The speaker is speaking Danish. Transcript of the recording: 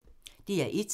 DR1